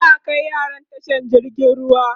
za'a Kai yaran tashar jirgin ruwa